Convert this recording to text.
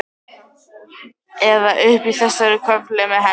Eða uppi í þessari körfu með henni.